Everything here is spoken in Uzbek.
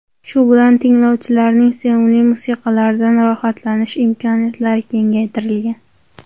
Shu bilan tinglovchilarning sevimli musiqalaridan rohatlanish imkoniyatlari kengaytirilgan.